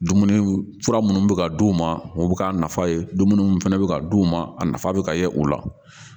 Dumuniw fura minnu bɛ ka d'u ma u bɛ k'a nafa ye dumuni minnu fana bɛ ka d'u ma a nafa bɛ ka ye o la